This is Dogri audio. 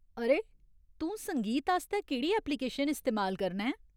अरे, तूं संगीत आस्तै केह्ड़ी ऐप्लिकेशन इस्तेमाल करना ऐं ?